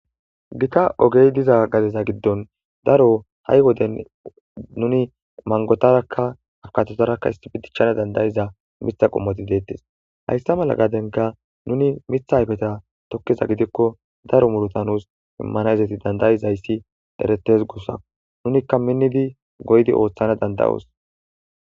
gita ogey diza gadeza giddon daro ha7i woden nuni mangotarakka afukatotarakka isbdichchana dandayiza mitha qommoti deettes hayssa mala gadenka nuni mitha hayfeta tokkeza gidikko daro murota nuus immanayzati dandayizayssi deretes gussa nunikka minnidi goydi ooththana dandayoos